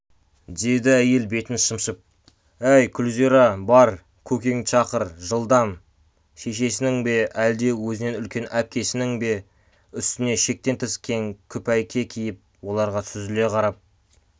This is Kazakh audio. деді әйел бетін шымшып әй күлзира бар көкеңді шақыр жылдам шешесінің бе әлде өзінен үлкен әпкесінің бе үстіне шектен тыс кең күпәйке киіп оларға сүзіле қарап